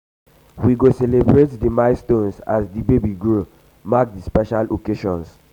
we go celebrate di milestones as di baby grow mark di special occasions.